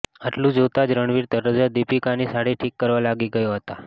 આટલું જોતા જ રણવીર તરત જ દીપિકા ની સાડી ઠીક કરવા લાગી ગયા હતા